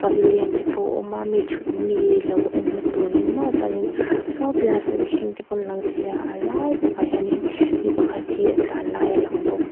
pavilion te pawh a awm a mi thut mi lo en na turin maw chuanin saw ti laiah mihring te pawh an lang thei a a lai takah hian mipa khat hi a tlan lai a lang bawk.